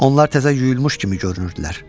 Onlar təzə yuyulmuş kimi görünürdülər.